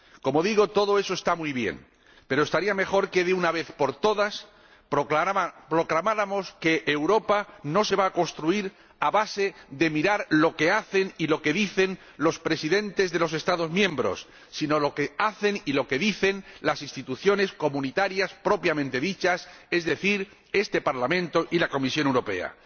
Como digo, todo eso está muy bien, pero estaría mejor que, de una vez por todas, proclamáramos que Europa no se va a construir a base de mirar lo que hacen y lo que dicen los presidentes de los Estados miembros, sino lo que hacen y lo que dicen las instituciones comunitarias propiamente dichas, es decir, este Parlamento y la Comisión Europea.